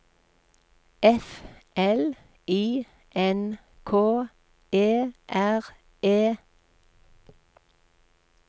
F L I N K E R E